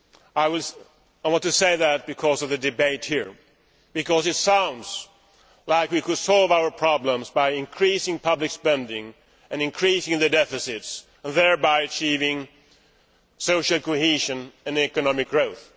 I want to say this in response to the debate here, as it sounds as if we could solve our problems by increasing public spending and increasing the deficits, thereby achieving social cohesion and economic growth.